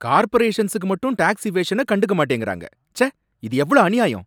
கார்பரேஷன்ஸுக்கு மட்டும் டேக்ஸ் இவேஷன கண்டுக்க மாட்டேங்கிறாங்க, ச்சே, இது எவ்ளோ அநியாயம்!